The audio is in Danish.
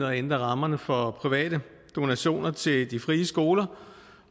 og ændre rammerne for private donationer til de frie skoler